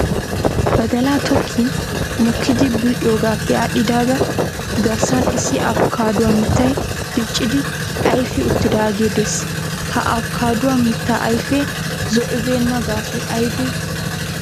Badalaa tokkin mokkidi bul'iyoogaappe aadhdhidaagaa garssan issi abkaaduwa mittay diccidi ayifi uttidaagee des. Ha abkaaduwa mittaa ayifee zo'ibeenna gaasoy ayibe